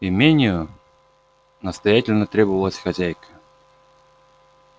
имению настоятельно требовалась хозяйка